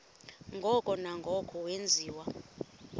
ngoko nangoko wenziwa